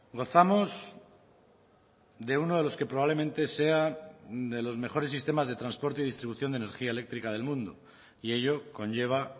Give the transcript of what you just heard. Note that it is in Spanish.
gozamos de uno de los que probablemente sea de los mejores sistemas de transporte y distribución de energía eléctrica del mundo y ello conlleva